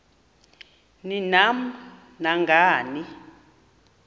ni nam nangani